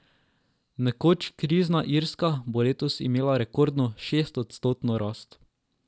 Nekoč krizna Irska bo letos imela rekordno šestodstotno rast.